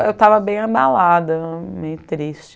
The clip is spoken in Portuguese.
Eu estava bem abalada, meio triste.